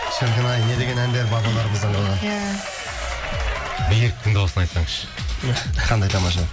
шіркін ай не деген әндер бабаларымыздан қалған иә беріктің дауысын айтсаңшы иә қандай тамаша